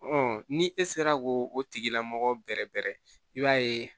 ni e sera ko o tigila mɔgɔ bɛrɛ bɛrɛ i b'a ye